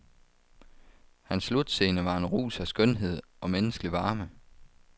Hans slutscene var en rus af skønhed og menneskelig varme.